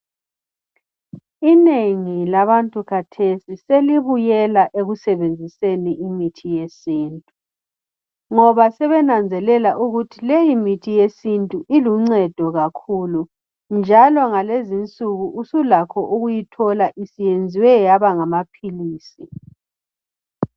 inengi labantu khathesi selibuyela ekusebenziseni imithi yesintu ngoba sebenanzelela ukuthi leyi mithi yesintu iluncedo kakhulu njalo ngalezi insuku usulakho ukuyithola isiyenzwe yaba ngamaphilisi